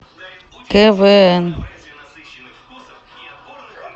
квн